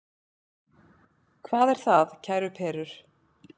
Hvað er það, kæru perur?